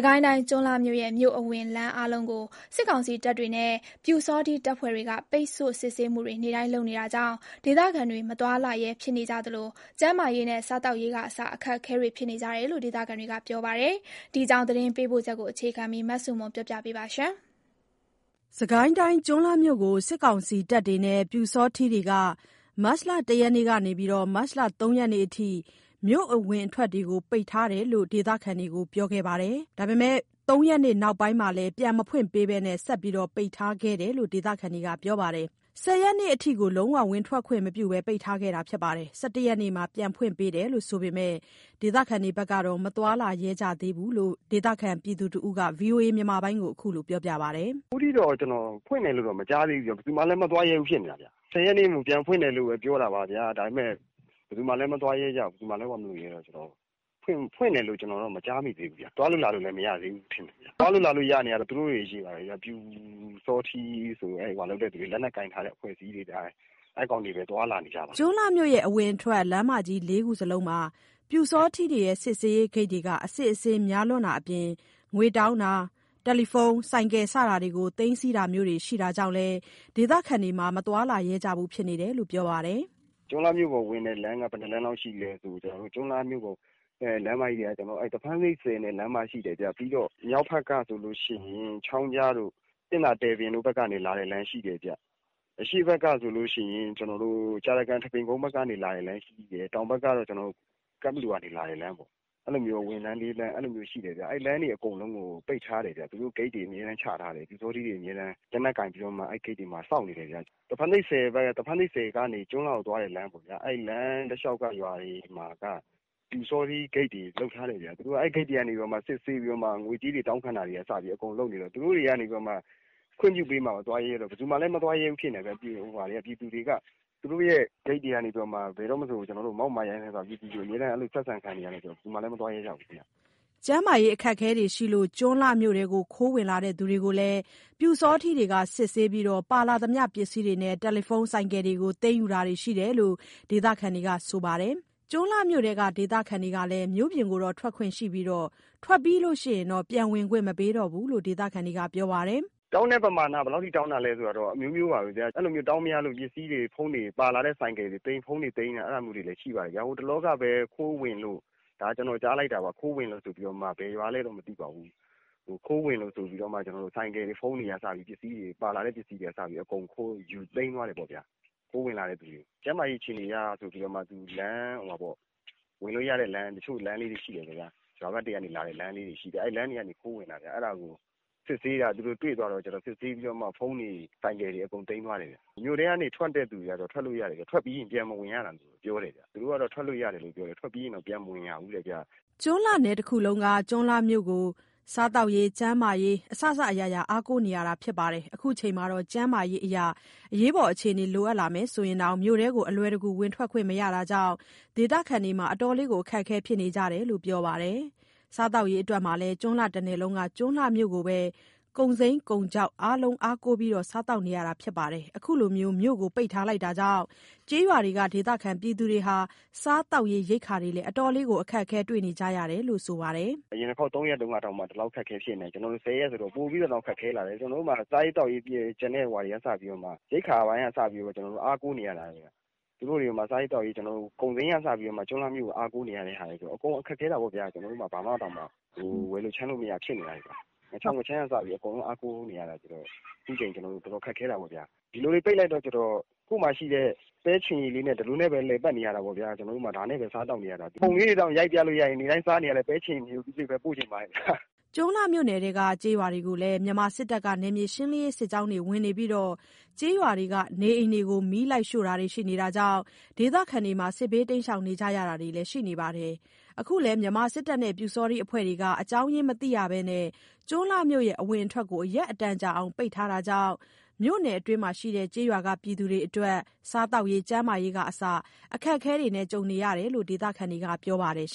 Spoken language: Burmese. ကိုင်းတိုင်း၊ ကျွန်းလှမြို့ရဲ့ မြို့အဝင်လမ်း အားလုံးကို စစ်ကောင်စီတပ်တွေနဲ့ ပျူစောထီးတပ်ဖွဲ့ဝင်တွေက ပိတ်ဆို့ စစ်ဆေးမှုတွေ နေ့တိုင်းလုပ်နေတာကြောင့် ဒေသခံတွေ မသွားလာရဲဖြစ်နေကြသလို ကျန်းမာရေးနဲ့ စားသောက်ရေးကအစ အခက်အခဲ ဖြစ်နေကြရတယ်လို့ ဒေသခံတွေက ပြောပါတယ်။ ဒီအကြောင်းသတင်းပေးပို့ချက်ကို အခြေခံပြီး မဆုမွန်တင်ပြပေးပါမယ်။ ကျွန်းလှမြို့ကို စစ်ကောင်စီတပ်တွေနဲ့ ပျူစောထီးတွေက မတ်လ ၁ ရက်နေ့ကနေ ၃ ရက်နေ့အထိ မြို့အဝင်အထွက်တွေကို ပိတ်ထားကြောင်း ဒေသခံတွေကို ပြောခဲ့ပေမယ့် ၃ ရက်နေ့ နောက်ပိုင်းမှာလည်း ပြန်မဖွင့်ပေးဘဲ ဆက်ပိတ်ထားခဲ့တယ်လို့ ဒေသခံတွေက ပြောပါတယ်။ ၁၀ ရက်နေ့အထိကို လုံးဝ ဝင်ထွက်ခွင့်မပြုဘဲ ပိတ်ထားခဲ့ပြီး ၁၁ ရက်နေ့မှာ ပြန်ဖွင့်ပေးတယ်ဆိုပေမယ့် ဒေသခံတွေကတော့ မသွားလာရဲကြသေးဘူးလို့ ဒေသခံတစ်ဦးက VOA ကို ခုလိုပြောပါတယ်။ “အခုထိတော့ ကျွန်တော် ဖွင့်တယ်လို့တော့ မကြားသေးဘူးဗျ။ ဘယ်သူမှလဲ မသွားရဲဘူးဖြစ်နေတာ။ ၁၀ ရက်နေ့ကို ပြန်ဖွင့်တယ်လို့ပဲ ပြောတာပါဗျာ။ ဒါပေမယ့် ဘယ်သူမှလဲမသွားရဲ၊ မလာရဲတော့ ဖွင့်တယ်လို့တော့ မကြားမိသေးဘူး။ သွားလို့လာလို့လည်း မရသေးဘူး။ သွားလို့လာလို့ရနေတာကတော့ သူတို့တွေချည်းပါပဲ။ ပျူစောထီးဆိုပြီး လက်နက်ကိုင်ထားတဲ့ အဖွဲ့အစည်းတွေပဲ။ အဲ့ကောင်တွေပဲ သွားလာနေကြပါတယ်။” ကျွန်းလှမြို့ အဝင်အထွက် လမ်းမကြီး ၄ ခုလုံးမှာ ပျူစောထီးတွေရဲ့ စစ်ဆေးရေးဂိတ်တွေက အစစ်အဆေးများလွန်းတာအပြင် ငွေတောင်းတာ၊ ဖုန်း၊ ဆိုင်ကယ် စတာတွေကို သိမ်းဆည်းတာမျိုးတွေ ရှိတာကြောင့် ဒေသခံတွေ မသွားလာရဲကြဘူးလို့ ပြောပါတယ်။ “ကျွန်းလှမြို့ပေါ်ကိုဝင်တဲ့ လမ်းတွေက သဖန်းဆိပ်ဆည်ဖက်က လမ်းမရှိတယ်ဗျ။ ပြီးတော့ မြောက်ဖက်ကဆိုလို့ရှိရင် ချောင်းကြားတို့၊ ပင့်သာ တို့ဖက်က လာတဲ့လမ်းရှိတယ်ဗျ။ အရှေ့ဖက်ကဆိုရင် ကြာတကန်၊ ထန်းပင်ကုန်းဖက်က လာတဲ့လမ်းရှိတယ်။ တောင်ဖက်ကကျတော့ ကန့်ဘလူကနေ လာတဲ့လမ်းပေါ့။ အဲ့လို အဝင်လမ်း ၄ လမ်းရှိတယ်ဗျ။ အဲ့ ၄ လမ်းလုံးကို ပိတ်ထားတယ်ဗျ။ သူတို့ ဂိတ်တွေအမြဲတမ်းချထားတယ်။ ပျူစောထီးတွေ လက်နက်ကိုင်ပြီးတော့မှ အမြဲတမ်း အဲ့ဂိတ်တွေမှာ စောင့်နေတယ်ဗျ။ သဖန်းဆိပ်ဆည်ကနေ ကျွန်းလှဖက်ကိုသွားတဲ့ လမ်းပေါ့ဗျာ၊ အဲ့လမ်းတလျောက်မှာက ပျူစောထီးဂိတ်တွေ လုပ်ထားတယ်ဗျ။ အဲ့ဂိတ်တွေကနေ သူတို့က စစ်ဆေးပြီးတော့မှ ငွေကြေးတောင်းခံတာကနေ အစ အကုန်လုပ်နေကြတော့ သူတို့တွေကနေပြီးတော့မှ ခွင့်ပြုပေးမှ သွားရဲတာပေါ့။ ဘယ်သူမှလည်း မသွားရဲဘူးဖြစ်နေတာဗျ။ အဲ့ဂိတ်တွေနေ ပြည်သူတွေကို ဘယ်တော့မဆို မောက်မာရိုင်းစိုင်းစွာ ဆက်ဆံခံနေရတော့ ဘယ်သူမှလည်း မသွားရဲကြဘူးဗျ။” ကျန်းမာရေးအရအခက်အခဲတွေကြောင့် ကျွန်းလှမြို့ထဲ ခိုးဝင်လာသူကိုလည်း ပျူစောထီးတွေက စစ်ဆေးပြီး ပါလာသမျှပစ္စည်းတွေနဲ့ ဖုန်း၊ ဆိုင်ကယ်တွေကို သိမ်းယူတာရှိတယ်လို့ ဒေသခံတွေက ဆိုပါတယ်။ ကျွန်းလှမြို့ထဲက ဒေသခံတွေကလည်း မြို့ပြင်ကို ထွက်ခွင့်တော့ရပြီး ထွက်ပြီးရင် ပြန်ဝင်ခွင့်မပေးတော့ဘူးလို့ ဒေသခံတွေက ပြောကြပါတယ်။ “တောင်းတဲ့ပမာကကတော့ အမျိုးမျိုးပဲဗျ၊ အဲ့လိုတောင်းမရလို့ ပစ္စည်းတွေပါလာတဲ့ ဆိုင်ကယ်တွေ ဖုန်းတွေ အဲ့လိုသိမ်းတာမျိုးလည်းရှိပါတယ်။ ဟိုတလောက ကျွန်တော်ကြားလိုက်တာပါ၊ ခိုးဝင်လို့ဆိုပြီးတော့ ဘယ်ရွာလည်းတော့ မသိပါဘူး၊ ခိုးဝင်လို့ဆိုပြီးတော့ ဆိုင်ကယ်တွေ ဖုန်းတွေက စပြီးတော့ ပါလာတဲ့ပစ္စည်းတွေအကုန် သိမ်းယူသွားတယ်ပေ့ါဗျာ၊ ခိုးဝင်လာတဲ့သူတွေကို။ ကျန်းမာရေး အခြေအနေအရဆိုပြီးတော့ သူက တချို့လမ်းလေးတွေ ရှိတယ်လေဗျာ၊ ရွာဖက်တွေကနေ လာတဲ့လမ်းတွေ အဲ့လမ်းလေးက ခိုးဝင်တာဗျာ အဲ့ဒါကို စစ်ဆေးတာ သူတို့ တွေ့သွားတော့ကျတော့ စစ်ဆေးပြီးတော့ ဖုန်းတွေ၊ ဆိုင်ကယ်တွေ အကုန်သိမ်းသွားတယ်ဗျ။ မြို့ထဲက ထွက်တဲ့သူတွေကတော့ ထွက်လို့ ရတယ်ဗျ။ ထွက်ပြီးရင် ပြန်ဝင်မရဘူးလို့ ပြောတယ်ဗျ။ သူတို့က ထွက်လို့ရတယ်၊ ထွက်ပြီးရင် ပြန်မဝင်ရဘူးတဲ့ဗျ။” ကျွန်းလှနယ်တစ်ခုလုံးက ကျွန်းလှမြို့ကို စားသောက်ရေး ကျန်းမာရေး အားလုံး အားကိုးနေရတာဖြစ်တဲ့အတွက် ခုချိန်မှာ ကျန်းမာရေးအရ အရေးပေါ်အခြေအနေတွေမှာ ဆိုရင်တောင် မြို့ထဲကို အလွယ်တကူ ဝင်ထွက်ခွင့်မရတာကြောင့် ဒေသခံတွေအတွက် အတော်လေး အခက်အခဲဖြစ်နေကြတယ်လို့ ပြောကြပါတယ်။ စားသောက်ရေးမှာလည်း ကျွန်းလှတနယ်လုံးက ကျွန်းလှမြို့ကိုပဲ ကုန်စိမ်း ကုန်ခြောက် အားလုံးအားကိုးစားသောက်နေရတာမို့ ခုလို မြို့ကိုပိတ်ထားတာကြောင့် ကျေးရွာတွေက ဒေသခံတွေဟာ စားသောက်ရေး ရိက္ခာတွေလည်း အတော်လေး ခက်ခဲနေကြရပြီဖြစ်တယ်လို့ ဆိုပါတယ်။ “အရင်တုန်းက ၃ ရက်လောက် ဆိုတုန်းကတောင် အတော်ခက်ခဲတာကို ခုလို ၁၀ ရက်ကျော်လာတော့ ပိုပြီးတော့တောင် ခက်ခဲလာတယ်။ ကျွန်တော်တို့မှာ စားရေးသောက်ရေအပြင်ကို ကျန်တဲ့ဟာတွေအတွက်ကိုမှ ရိက္ခာပိုင်းက အစကိုမှ အားကိုးနေရတာဗျ စားရေးသောက်ရေးမှာ ကုန်စိမ်းကအစကိုမှ ကျွန်းလှမြို့ကို အားကိုးနေရတဲ့ဟာကို အကုန်ခက်ခဲတာပေ့ါဗျာ ကျွန်တော်တို့မှာ ဘာမှကို ဝယ်လို့ခြမ်းလို့မရ ဖြစ်နေကြတယ်ဗျ။ ငါးခြောက် ငါးခြမ်းကအစ အားကိုးနေရတာဆိုတော့ ကျွန်တော်တို့ ခုအချိန် အကုန်ခက်ခဲတာပေါ့ဗျာ။ ဒီလိုတွေ ပိတ်လိုက်တော့ကျတော့ ကိုယ့်မှာရှိတဲ့ ပဲချဉ်ရည်ဟင်းလေးနဲ့ပဲ ဒီလိုပဲ လည်ပတ်နေရတာပေါ့ဗျာ၊ ဒီလိုပဲ စားသောက်နေရတာ။ ပုံလေးသာရိုက်ပြလို့ရရင် နေ့တိုင်းစားနေရတဲ့ ပဲချဉ်ရည်နဲ့ ငရုပ်သီးလေးပဲ ပြချင်ပါတယ်ဗျာ။” ကျွန်းလှမြို့နယ်အတွင်းက ကျေးရွာတွေကိုလည်း မြန်မာစစ်တပ်က နယ်မြေရှင်းလင်းရေး စစ်ကြောင်းတွေဝင်သလို ကျေးရွာက နေအိမ်တွေကို မီးရှို့တာတွေလည်း ရှိတာကြောင့် ဒေသခံတွေ စစ်ဘေးရှောင်နေကြရတာတွေလည်း ရှိပါတယ်။ အခုလည်း မြန်မာစစ်တပ်နဲ့ ပျူစောထီး အဖွဲ့တွေက အကြောင်းရင်းမသိရဘဲ ကျွန်းလှမြို့အဝင်အထွက်တွေကို ရက်အတော်ကြာအောင် ပိတ်ထားတာကြောင့် မြို့နယ်အတွင်းက ကျေးရွာတွေဟာ စားသောက်ရေး ကျန်းမာရေးကအစ အခက်အခဲတွေ ဖြစ်နေရတယ်လို့ ဒေသခံတွေက ဆိုကြပါတယ်။